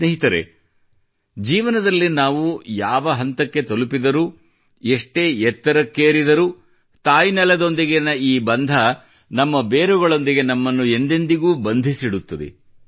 ಸ್ನೇಹಿತರೆ ಜೀವನದಲ್ಲಿ ನಾವು ಯಾವ ಹಂತಕ್ಕೆ ತಲುಪಿದರೂ ಎಷ್ಟೇ ಎತ್ತರಕ್ಕೇರಿದರೂ ತಾಯ್ನೆಲದೊಂದಿಗಿನ ಈ ಬಂಧ ನಮ್ಮ ಬೇರುಗಳೊಂದಿಗೆ ನಮ್ಮನ್ನು ಎಂದೆಂದಿಗೂ ಬಂಧಿಸಿಡುತ್ತದೆ